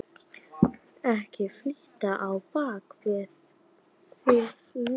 Ekkert fitl á bak við þil núna.